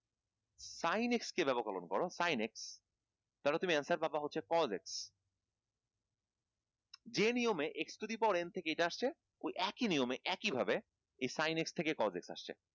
sinx কে ব্যাপককরন করো six তাহলে তুমি answer পাবা হচ্ছে cosec । যে নিয়মে x to the power n থেকে এটা আসছে ওই একই নিয়মে একই ভাবে এই six থেকে cosec আসছে